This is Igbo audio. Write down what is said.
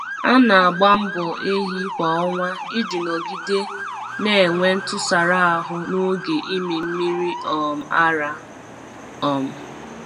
A na-agba mbọ ehi kwa ọnwa iji nọgide na-enwe ntụsara ahụ n'oge ịmị mmiri um ara. um